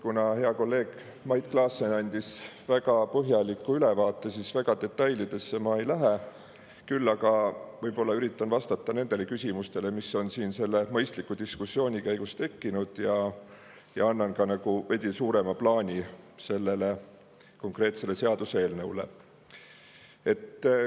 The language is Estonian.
Kuna hea kolleeg Mait Klaassen andis väga põhjaliku ülevaate, siis väga detailidesse ma ei lähe, küll aga võib-olla üritan vastata nendele küsimustele, mis on siin selle mõistliku diskussiooni käigus tekkinud, ja annan ka veidi suurema plaani sellele konkreetsele seaduseelnõule.